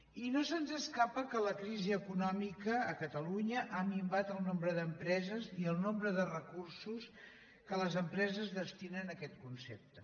i no se’ns escapa que la crisi econòmica a catalunya ha minvat el nombre d’empreses i el nombre de recur·sos que les empreses destinen a aquest concepte